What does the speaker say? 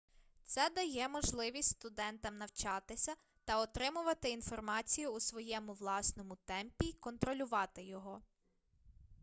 це дає можливість студентам навчатися та отримувати інформацію у своєму власному темпі й контролювати його